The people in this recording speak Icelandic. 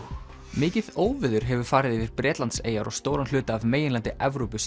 mikið óveður hefur farið yfir Bretlandseyjar og stóran hluta af meginlandi Evrópu